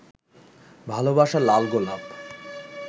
ভালবাসার লাল গোলাপ